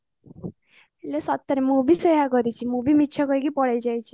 ଇଲୋ ସତରେ ମୁ ବି ସେଇଆ କରିଛି ମୁ ବି ମିଛ କହିକି ପଳେଇ ଯାଇଛି